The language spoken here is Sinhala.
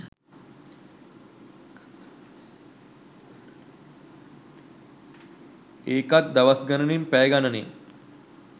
ඒකත් දවස් ගණනෙන් පැය ගණනෙන්